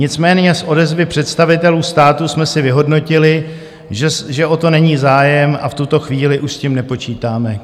Nicméně z odezvy představitelů státu jsme si vyhodnotili, že o to není zájem, a v tuto chvíli už s tím nepočítáme."